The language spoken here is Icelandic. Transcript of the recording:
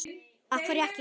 af hverju ekki?